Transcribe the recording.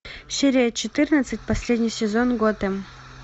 серия четырнадцать последний сезон готэм